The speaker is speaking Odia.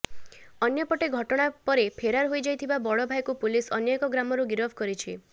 ଅନ୍ୟପଟେ ଘଟଣା ପରେ ଫେରାର ହୋଇଯାଇଥିବା ବଡ଼ ଭାଇକୁ ପୁଲିସ ଅନ୍ୟ ଏକ ଗ୍ରାମରୁ ଗିରଫ କରିଛି